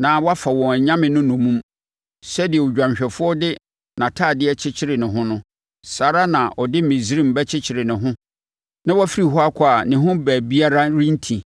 na wɔafa wɔn anyame no nnommum. Sɛdeɛ odwanhwɛfoɔ de nʼatadeɛ kyekyere ne ho no, saa ara na ɔde Misraim bɛkyekyere ne ho na wafiri hɔ akɔ a ne ho baabiara renti.